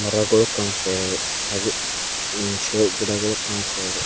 ಮರಗಳು ಕಾಣಿಸ್ತಾ ಇದಾವೆ ಹಾಗೆ ಹು ಶೋ ಗಿಡ ಗಳು ಕಾಣಿಸ್ತಾ ಇದೆ.